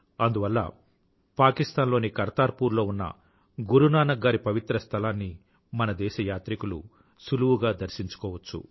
అందువల్ల పాకిస్తాన్ లోని కర్తార్ పూర్ లో ఉన్న గురునానక్ గారి పవిత్ర స్థలాన్ని మన దేశ యాత్రికులు సులువుగా దర్శించుకోవచ్చు